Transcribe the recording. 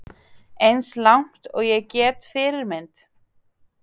Eins langt og ég get Fyrirmynd?